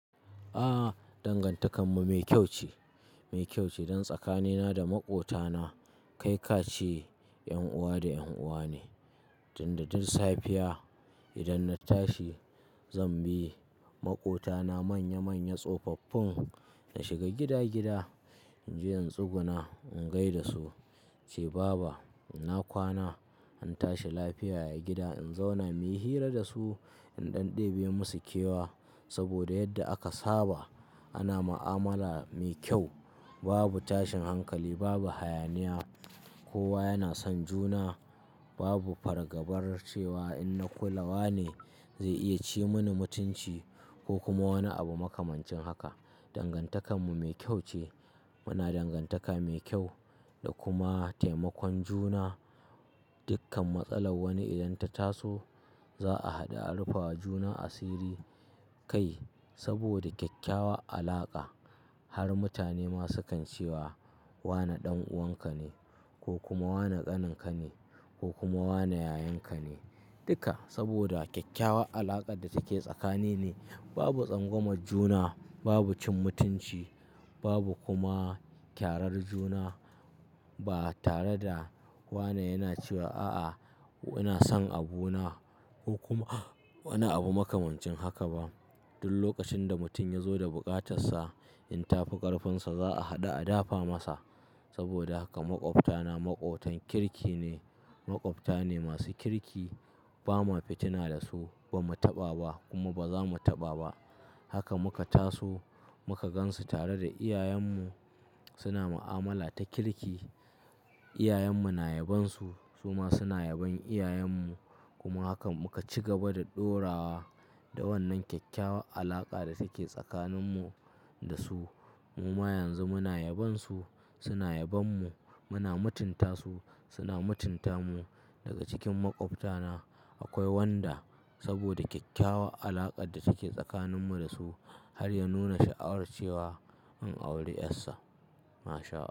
A'a, dangantakar mu mai kyau ce, mai kyau ce. Dan tsakanina da maƙwabtana, kai ka ce 'yan uwa da 'yan uwa ne. Tunda duk safiya, idan na tashi zan bi maƙwabtana manya-manya tsofaffin, na shiga gida-gida in je in tsuguna in gai da su in ce "Baba ina kwana?" An tashi lafiya a gida" in zauna muyi hira da su, in ɗan ɗebe musu kewa. Saboda yadda aka saba ana mu'amala mai kyau. Babu tashin hankali, babu hayaniya, kowa yana son juna. Babu fargabar cewa in na kula wane, zai iya ci mini mutunci, ko kuma wani abu makamancin haka. Dangantakar mu mai kyau ce. Muna dangantaka mai kyau da kuma taimakon juna. Dukkan matsalar wani idan ta taso, za'a haɗa a rufawa juna asiri kai. Saboda kyakkyawan alaka har mutane ma, su kan cewa wane ɗan'uwanka ne, ko kuma wane ƙaninka ne, ko kuma wane yayanka ne. Duka saboda kyakkyawan alakar da take tsakanin mu. Babu tsangwamar juna, babu cin mutunci, babu kuma kyarar juna ba tare da, wane yana cewa a'a ina son abu na, ko kuma wani abu makamancin haka ba. Duk lokacin da mutum ya zo da buƙatarsa, in tafi ƙarfinsa za'a haɗu a dafa masa. Saboda haka maƙwabta na maƙwabtan kirki ne. Maƙwabta ne masu kirki. Ba ma fitina da su, ba mu taɓa ba kuma ba za mu taɓa ba. Haka muka taso, muka gansu tare da iyayen mu. Suna mu'amala ta kirki. Iyayen mu na yabon su, su ma suna yabon iyayen mu. Kuma haka muka ci gaba da ɗorawa da wannan kyakkyawan alaka da take tsakanin mu da su. Muma yanzu muna yabon su, suna yabon mu, muna mutunta su, suna mutunta mu. Daga cikin maƙwabta na akwai wanda saboda kyakkyawan alakar da take tsakanin mu da su har ya nuna sha'awar cewa in auri 'yarsa. MashaAllah.